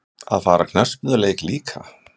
Að fara á knattspyrnuleik líka?